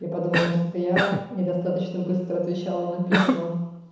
я подумал может это я недостаточно быстро отвечал на письма